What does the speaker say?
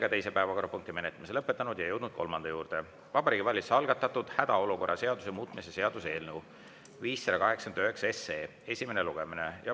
Ja jõudnud kolmanda juurde: Vabariigi Valitsuse algatatud hädaolukorra seaduse muutmise seaduse eelnõu 589 esimene lugemine.